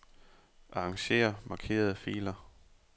Arranger markerede filer.